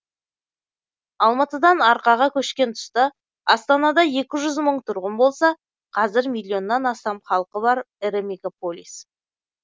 алматыдан арқаға көшкен тұста астанада екі жүз мың тұрғын болса қазір миллионнан астам халқы бар ірі мегаполис